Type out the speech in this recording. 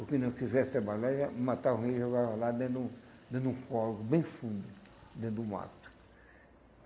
O que não quisesse trabalhar, já matava alguém e jogava lá dentro de um dentro de um corvo bem fundo, dentro do mato.